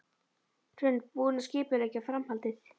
Hrund: Búinn að skipuleggja framhaldið?